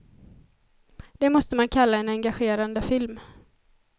Det måste man kalla en engagerande film.